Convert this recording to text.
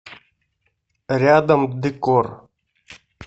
рядом декор